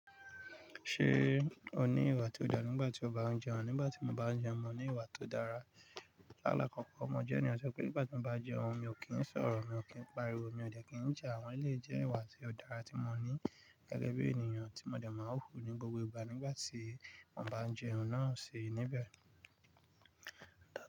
Ṣé o ní ìwà tó dára nígbà tí o bá ń jẹ oúnjẹ? Nígbà tí mo bá ń jẹ oúnjẹ, mo ní ìwà tó dára. Láàlá kọ̀ọ̀kan, mo jẹ́ ènìyàn tí ó ṣe pé nígbà tí mo bá jẹ oúnjẹ, mi ò kí ń sọ̀rọ̀, mi ò kí ń pariwo, mi ò jẹ́ kí ń jà, àwọn èlé jẹ́ ìwà tí ó dára tí mo ní gẹ́gẹ́ bí ènìyàn tí mo dẹ̀ máa ń hù ní gbogbo ìgbà nígbà tí mo bá ń jẹ oúnjẹ náà sì níbẹ̀.